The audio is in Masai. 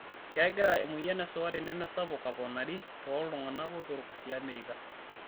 Kegira emoyian esukari nemesapuk aponari tooltungana botorok tiamerika.